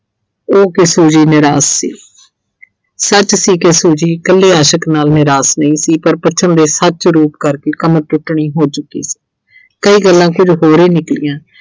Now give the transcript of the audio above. ਉਹਤੇ Suji ਨਿਰਾਸ਼ ਸੀ ਸੱਚ ਸੀ ਕਿ Suji ਕੱਲੇ ਆਸ਼ਿਕ ਨਾਲ ਨਿਰਾਸ਼ ਨਹੀਂ ਸੀ ਪਰ ਦੇ ਸੱਚ ਰੂਪ ਕਰਕੇ ਹੋ ਚੁੱਕੀ ਸੀ ਕਈ ਗੱਲਾਂ ਸੀ ਜੋ ਹੋਰੇ ਨਿਕਲੀਆਂ।